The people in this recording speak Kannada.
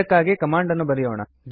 ಇದಕ್ಕಾಗಿ ಕಮಾಂಡ್ ಅನ್ನು ಕೊಡೋಣ